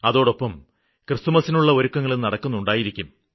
അതോടൊപ്പം ക്രിസ്തുമസിനുള്ള ഒരുക്കങ്ങളും നടക്കുന്നുണ്ടായിരിക്കും